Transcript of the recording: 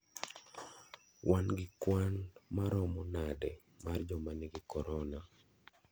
Wan gi kwan maromo nade mar joma nigi korona?